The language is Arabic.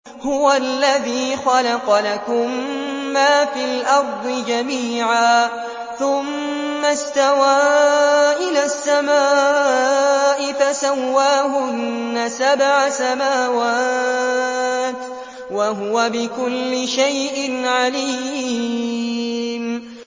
هُوَ الَّذِي خَلَقَ لَكُم مَّا فِي الْأَرْضِ جَمِيعًا ثُمَّ اسْتَوَىٰ إِلَى السَّمَاءِ فَسَوَّاهُنَّ سَبْعَ سَمَاوَاتٍ ۚ وَهُوَ بِكُلِّ شَيْءٍ عَلِيمٌ